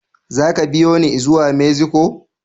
Zaka biyune i zuwa Mexico?